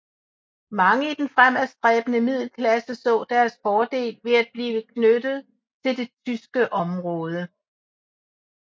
Mange i den fremadstræbende middelklasse så deres fordel ved at blive knyttet til det tyske område